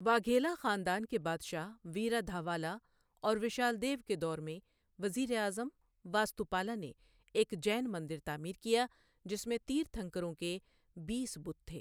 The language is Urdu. واگھیلا خاندان کے بادشاہ ویرادھاوالا اور وشالدیو کے دور میں وزیر اعظم، واستوپالا نے ایک جین مندر تعمیر کیا جس میں تیرتھنکروں کے بیس بت تھے۔